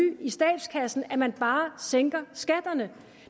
i statskassen at man bare sænker skatterne